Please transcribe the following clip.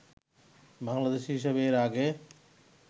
বাংলাদেশি হিসেবে এর আগে